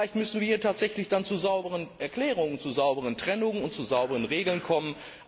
Vielleicht müssen wir ja tatsächlich dann zu sauberen Erklärungen, zu sauberen Trennungen und zu sauberen Regeln kommen.